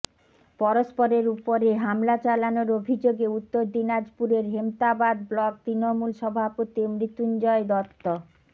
পরস্পরের উপরে হামলা চালানোর অভিযোগে উত্তর দিনাজপুরের হেমতাবাদ ব্লক তৃণমূল সভাপতি মৃত্যুঞ্জয় দত্ত